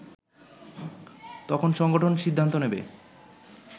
তখন সংগঠন সিদ্ধান্ত নেবে